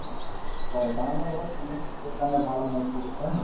হয় banana ধৰক এনে স্বাস্থ্যৰ কাৰণে ভাল মানে সি হয় নে নহয়?